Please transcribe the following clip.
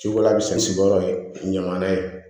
Ciko la misi sigiyɔrɔ ye ɲaman ye